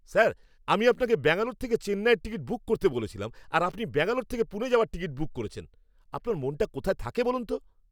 Sir! আমি আপনাকে ব্যাঙ্গালোর থেকে চেন্নাইয়ের টিকিট বুক করতে বলেছিলাম আর আপনি ব্যাঙ্গালোর থেকে পুনে যাওয়ার টিকিট বুক করেছেন। আপনার মনটা কোথায় থাকে বলুন তো?